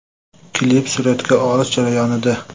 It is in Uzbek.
Klip suratga olish jarayonida.